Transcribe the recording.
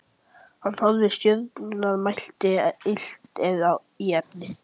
Hann horfði á stjörnurnar og mælti: Illt er í efni.